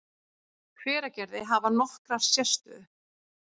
Hveragerði, hafa nokkra sérstöðu.